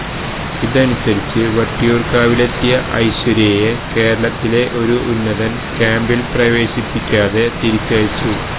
ഇതനുസരിച്ച് വട്ടിയൂര്കാവിലെത്തിയ ഐശ്വര്യയെ കേരളത്തിലെ ഒരു ഉന്നതന് ക്യാംപില് പ്രവേശിപ്പിക്കാതെ തിരിച്ചയച്ചു